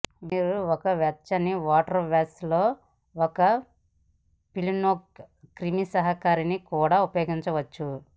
మీరు ఒక వెచ్చని వాటర్ వాష్ లో ఒక ఫినోలిక్ క్రిమిసంహారిణిని కూడా ఉపయోగించవచ్చు